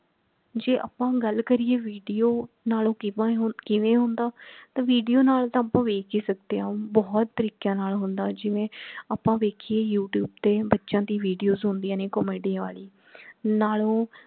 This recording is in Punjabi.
ਜੇ ਆਪਾ ਹੁਣ ਗੱਲ ਕਰੀਏ video ਨਾਲੋਂ ਕਿਵੇਂ ਹੁੰਦਾ ਤਾਂ video ਨਾਲ ਤਾਂ ਆਪਾ ਵੇਖ ਹੀ ਸਕਦੇ ਹਾਂ ਬਹੁਤ ਤਰੀਕਿਆਂ ਨਾਲ ਹੁੰਦਾ ਜਿਵੇਂ ਆਪਾ ਵੇਖੀਏ youtube ਤੇ ਬੱਚਿਆਂ ਦੀ videos ਹੁੰਦੀਆਂ ਨੇ comedy ਵਾਲੀ ਨਾਲੋਂ